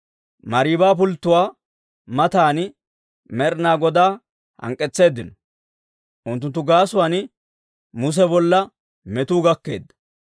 Mariiba pulttuwaa matan Med'inaa Godaa hank'k'etseeddino; unttunttu gaasuwaan Muse bolla metuu gakkeedda.